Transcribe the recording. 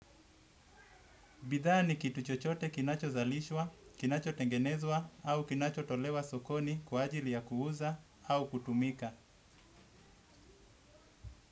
Bidhaa ni kitu chochote kinachozalishwa, kinachotengenezwa au kinachotolewa sokoni kwa ajili ya kuuza au kutumika.